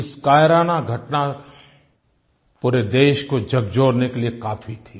इस कायराना घटना पूरे देश को झकझोरने के लिए काफ़ी थी